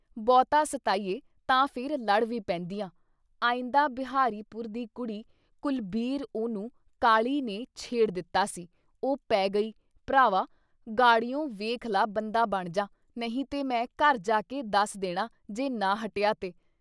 ਬਹੁਤਾ ਸਤਾਈਏ ਤਾਂ ਫਿਰ ਲੜ ਵੀ ਪੈਂਦੀਆਂ। ਅਈਦਾਂ ਬਿਹਾਰੀ ਪੁਰ ਦੀ ਕੁੜੀ ਕੁਲਬੀਰ ਉਹਨੂੰ ਕਾਲੀ ਨੇ ਛੇੜ ਦਿੱਤਾ ਸੀ - ਉਹ ਪੈ ਗਈ ਭਰਾਵਾ ਗਾੜੀਉਂ ਵੇਖ ਲਾ ਬੰਦਾ ਬਣ ਜਾ! ਨਹੀਂ ਤੇ ਮੈਂ ਘਰ ਜਾ ਕੇ ਦੱਸ ਦੇਣਾ ਜੇ ਨਾ ਹਟਿਆ ਤੇ।